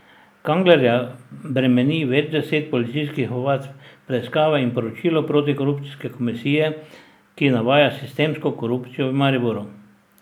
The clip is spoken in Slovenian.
Kanglerja bremeni več deset policijskih ovadb, preiskave in poročilo protikorupcijske komisije, ki navaja sistemsko korupcijo v Mariboru.